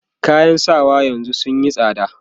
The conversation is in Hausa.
kayan sawa yanzun sunyi tsada